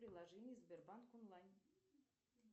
приложение сбербанк онлайн